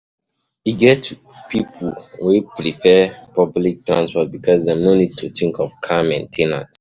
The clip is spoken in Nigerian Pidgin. E get pipo wey prefer public transport because dem no need to think of car main ten ance